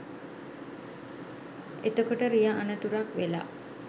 එතකොට රිය අනතුරක් වෙලා